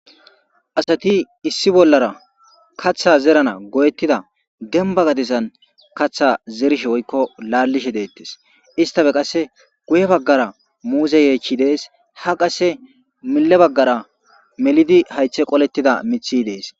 Asati issi bollara katha zerana goyettida demba gadessan katha zerishe woykko laallishe deettes istafe qasse guye baggara muuze yeechi dees ha qasse mile baggara melidi haythe qolettida mithi dees.